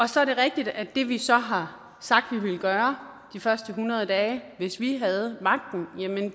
så er det rigtigt at det vi så har sagt vi ville gøre de første hundrede dage hvis vi havde magten